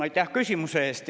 Aitäh küsimuse eest!